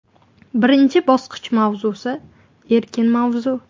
Birinchi bosqich mavzusi – erkin mavzu.